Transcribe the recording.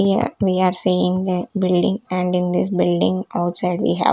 Here we are seeing a building and in this building outside we have--